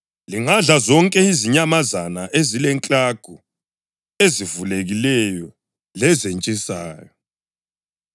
lingadla zonke izinyamazana ezilenklagu ezivulekileyo lezentshisayo.